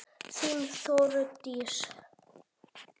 Þín, Þórdís.